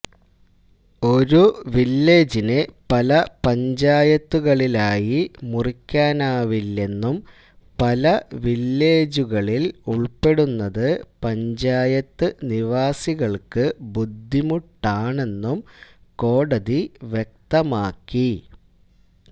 ഒരു വില്ലേജിനെ പല പഞ്ചായത്തുകളിലായി മുറിക്കാനാവില്ലെന്നും പല വില്ലേജുകളില് ഉള്പ്പെടുന്നതു പഞ്ചായത്ത് നിവാസികള്ക്ക് ബുദ്ധിമുട്ടാണെന്നും കോടതി വ്യക്തമാക്കി